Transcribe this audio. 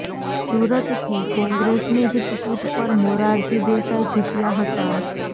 સુરતથી કોંગ્રેસની જ ટિકિટ પર મોરારજી દેસાઇ જીત્યા હતા